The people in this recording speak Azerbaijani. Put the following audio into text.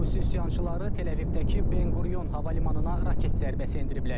Husi üsyançıları Təl-Əvivdəki Benqurion hava limanına raket zərbəsi endiriblər.